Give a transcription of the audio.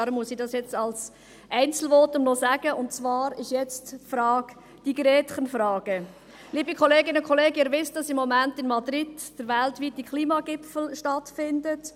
Deshalb muss ich es noch in einem Einzelvotum sagen, und zwar geht es um die Gretchenfrage: Liebe Kolleginnen und Kollegen, Sie wissen, dass im Moment in Madrid der weltweite Klimagipfel stattfindet.